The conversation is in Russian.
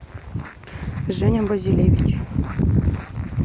женя базилевич